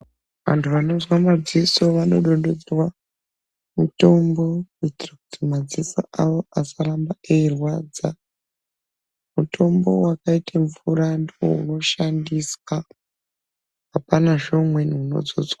Vantu vanozwa madziso vanodududzwa mutombo mumadziso kuti madziso awo asaramba eirwadza mutombo wakaita mvura ndiwo unoshandiswa hapanazve mumweni unodzodzwa.